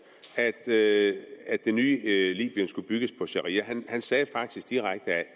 at det nye libyen skulle bygges på sharia han sagde faktisk direkte at